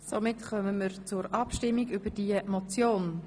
Somit kommen wir zur Abstimmung über diese Motion.